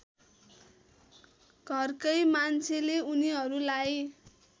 घरकै मान्छेले उनीहरूलाई